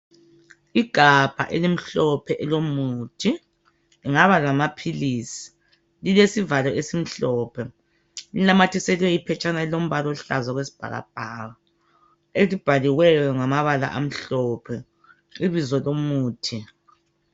Igabha elimhlophe elomuthi lingaba lamaphilisi lilesivalo esimhlophe linanyathiselwe iphetshana elilombala oluhlaza okwesibhakabhaka elibhaliweyo ngamabala amhlophe ibizo lomuthi.